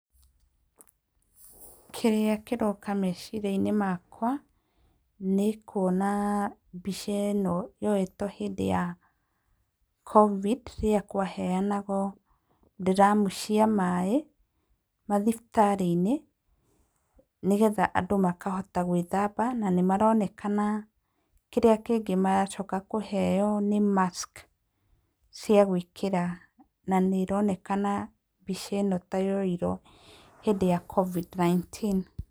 Kĩrĩa kĩroka meciria-inĩ makwa, nĩ kuona mbica ĩno yoetwo hĩndĩ ya Covid rĩrĩa kwaheanagwo ndramu cia maĩ mathibitarĩ-inĩ, nĩgetha andũ makahota gwĩthamba, na nĩ maronekana kĩrĩa kĩngĩ maracoka kũheo nĩ mask cia gwĩkĩra na nĩ ironekana mbica ĩno ta yoirwo hĩndĩ ya Covid 19.